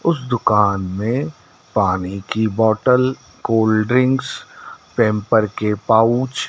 उस दुकान में पानी की बोटल कोल्ड्रिंक्स पेम्पर के पाउच --